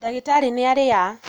Ndagĩtarĩ nĩaria